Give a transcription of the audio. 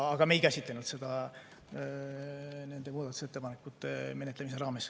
Ent me ei käsitlenud seda nende muudatusettepanekute menetlemise raames.